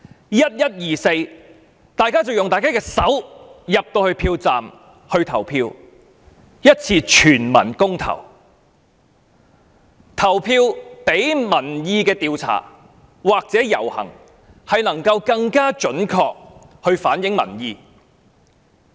在11月24日，大家進入票站用自己的雙手投票，作出一次全民公投，投票比民意調查或遊行更能準確反映民意。